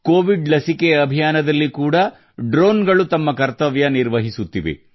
Covid ಲಸಿಕೆ ಅಭಿಯಾನದಲ್ಲಿ ಕೂಡಾ ಡ್ರೋನ್ ಗಳು ತಮ್ಮ ಪಾತ್ರ ನಿರ್ವಹಿಸುತ್ತಿವೆ